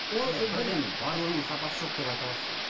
ол ы сіз бірден барлығының сапасы жоқ деп айта аласыз ба